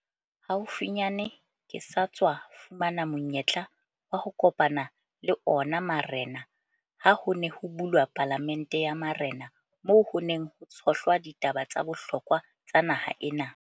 Haufinyane ke sa tswa fumana monyetla wa ho kopana le ona marena ha ho ne ho bulwa Palamente ya Marena moo ho neng ho tshohlwa ditaba tsa bohlokwa tsa naha ena.